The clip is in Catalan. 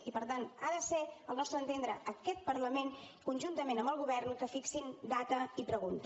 i per tant ha de ser al nostre entendre aquest parlament conjuntament amb el govern que fixi data i pregunta